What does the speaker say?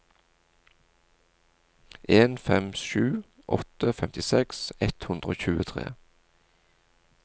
en fem sju åtte femtiseks ett hundre og tjuetre